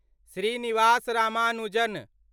Srinivas Ramanujan